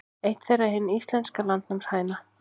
Eitt þeirra er hin íslenska landnámshæna.